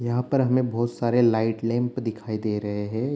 यहाँ पर हमे बहुत सारे लाइट लैंप दिखाई दे रहे हैं।